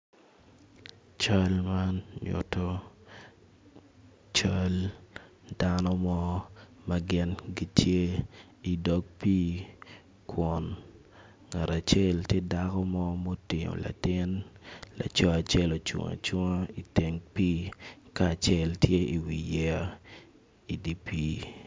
Cal man nyuto cal dano mo magin gitye i dog pi kun ngat acel tye dako mo motingo latin laco acel ocung acunga i teng pi ka acel tye i wi yeya i dipi.